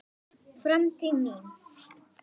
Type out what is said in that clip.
Framtíð mín?